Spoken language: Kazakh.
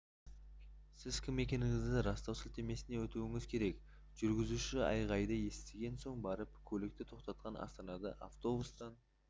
сіз кім екендігіңізді растау сілтемесіне өтуіңіз керек жүргізуші айғайды естіген соң барып көлікті тоқтатқан астанада автобустан